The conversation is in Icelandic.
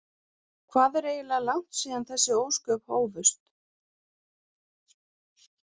Hvað er eiginlega langt síðan þessi ósköp hófust?